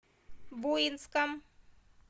буинском